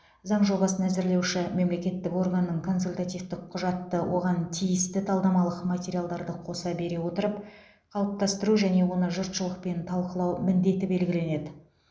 заң жобасын әзірлеуші мемлекеттік органның консультативтік құжатты оған тиісті талдамалық материалдарды қоса бере отырып қалыптастыру және оны жұртшылықпен талқылау міндеті белгіленеді